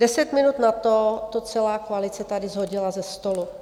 Deset minut na to to celá koalice tady shodila ze stolu.